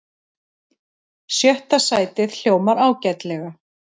Sjötta sætið hljómar ágætlega